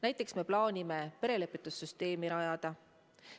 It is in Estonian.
Näiteks me plaanime perelepitussüsteemi rajada.